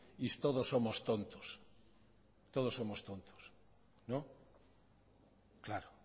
y todos somos tontos todos somos tontos no claro